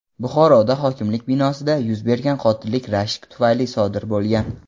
Buxoroda hokimlik binosida yuz bergan qotillik rashk tufayli sodir bo‘lgan.